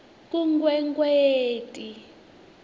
kunkwekweti